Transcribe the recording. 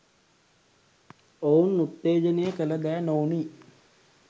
ඔවුන් උත්තේජනය කල දෑ නොවුනි.